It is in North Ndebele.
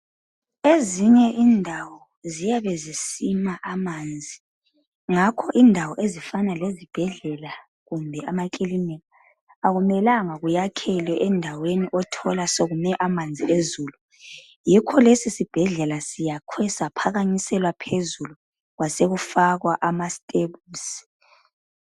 Ezinye indawo, ziyabe zisima amanzi. Ngakho indawo ezifana lezibhedlela kumbe lamakilinika, kakumelanga kwakhelwe ensldaweni lapha othola khona, sekumi amanzi ezulu..Yikho nje lesi sibhedlela sakhiwe, saphakanyiselwa phezulu. Kwasekufakwa amasteps.